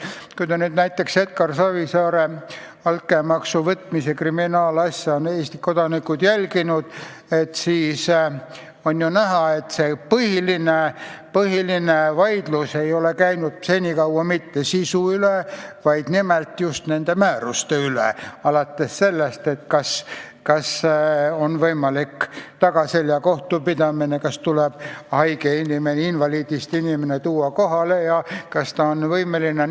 Kui kodanikud on jälginud näiteks Edgar Savisaare altkäemaksu võtmise kriminaalasja, siis nad on näinud, et põhiline vaidlus ei ole käinud mitte sisu üle, vaid just nimelt nende määruste üle: kas on võimalik tagaselja kohtupidamine, kas tuleb haige inimene, invaliidist inimene tuua kohale, kas ta on võimeline osalema.